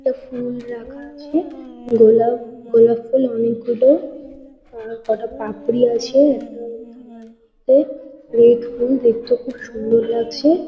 একটা ফুল রাখা আছে। গোলাপ গোলাপ ফুল অনেকগুলো অনেক কটা পাঁপড়ি আছে। একটা থালার মধ্যে। রেড ফুল দেখতে খুব সুন্দর লাগছে।